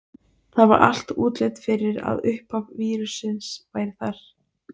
Það var allt útlit fyrir að uppaf vírussins væri þar.